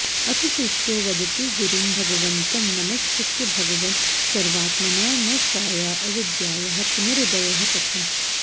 अथ शिष्यो वदति गुरुं भगवन्तं नमस्कृत्य भगवन् सर्वात्मना नष्टाया अविद्यायाः पुनरुदयः कथम्